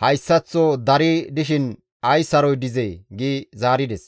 hayssaththo dari dishin ay saroy dizee!» gi zaarides.